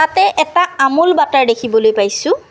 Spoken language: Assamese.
ইয়াতে এটা আমুল বাটাৰ দেখিবলৈ পাইছোঁ।